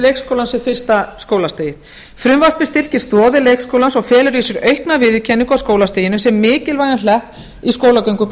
leikskólann sem fyrsta skólastigið frumvarpið styrkir stoðir leikskólans og felur í sér aukna viðurkenningu á skólastiginu sem mikilvægum hlekk í skólagöngu